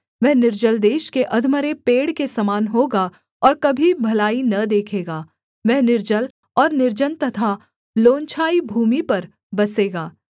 वह निर्जल देश के अधमरे पेड़ के समान होगा और कभी भलाई न देखेगा वह निर्जल और निर्जन तथा लोनछाई भूमि पर बसेगा